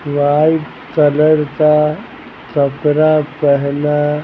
white colour का सफरा पहना--